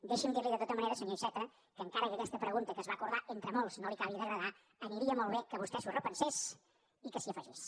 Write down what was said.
deixi’m dir li de tota manera senyor iceta que encara que aquesta pregunta que es va acordar entre molts no li acabi d’agradar aniria molt bé que vostè s’ho repensés i que s’hi afegís